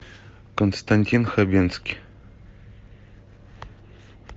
константин хабенский